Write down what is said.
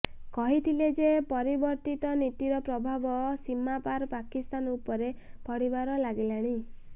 କହିଥିଲେ ଯେ ପରିବର୍ତ୍ତିତ ନୀତିର ପ୍ରଭାବ ସୀମାପାର ପାକିସ୍ତାନ ଉପରେ ପଡିବାରେ ଲାଗିଲାଣି